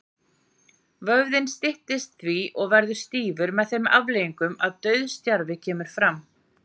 Vöðvinn styttist því og verður stífur, með þeim afleiðingum að dauðastjarfi kemur fram.